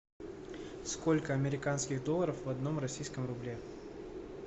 сколько американских долларов в одном российском рубле